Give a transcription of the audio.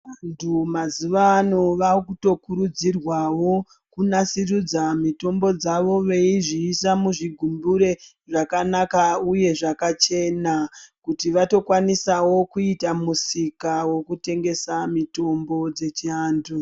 Vantu mazuwa anaya vakuto kurudzirwawo kunasirudza mitombo dzawo veizviisa muzvigubhure zvakanaka uye zvakachena kuti vatokwanisa kuitawo musika wekutengesa mitombo dzechiantu.